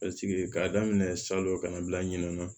k'a daminɛ salon kana bila ɲinɛ